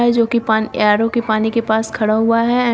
है जोकि पानी ए आर_ओ पानी के पास खड़ा हुआ है।